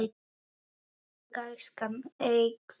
Gæskan eykst.